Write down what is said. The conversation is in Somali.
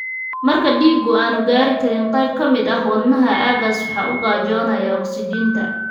Marka dhiiggu aanu gaadhi karin qayb ka mid ah wadnahaaga, aaggaas waxa u gaajoonaya ogsijiinta.